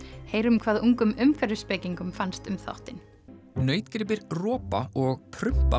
heyrum hvað ungum fannst um þáttinn nautgripir ropa og